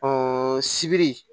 sibiri